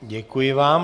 Děkuji vám.